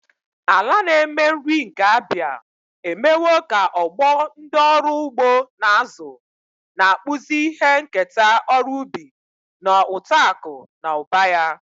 Ala na-eme nri nke Abia emewo ka ọgbọ ndị ọrụ ugbo na-azụ, na-akpụzi ihe nketa ọrụ ubi na uto akụ na ụba ya.